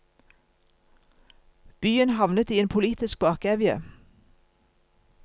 Byen havnet i en politisk bakevje.